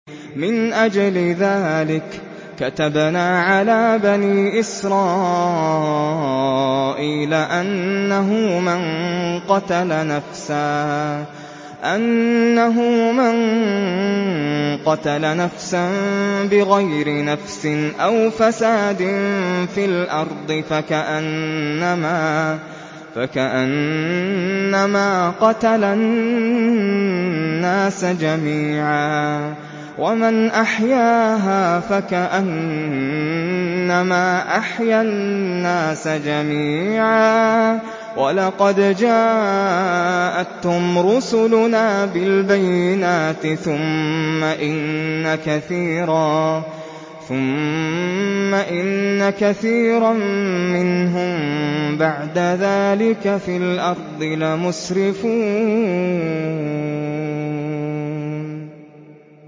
مِنْ أَجْلِ ذَٰلِكَ كَتَبْنَا عَلَىٰ بَنِي إِسْرَائِيلَ أَنَّهُ مَن قَتَلَ نَفْسًا بِغَيْرِ نَفْسٍ أَوْ فَسَادٍ فِي الْأَرْضِ فَكَأَنَّمَا قَتَلَ النَّاسَ جَمِيعًا وَمَنْ أَحْيَاهَا فَكَأَنَّمَا أَحْيَا النَّاسَ جَمِيعًا ۚ وَلَقَدْ جَاءَتْهُمْ رُسُلُنَا بِالْبَيِّنَاتِ ثُمَّ إِنَّ كَثِيرًا مِّنْهُم بَعْدَ ذَٰلِكَ فِي الْأَرْضِ لَمُسْرِفُونَ